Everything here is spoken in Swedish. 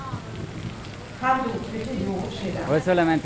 Han dog för tio år sedan.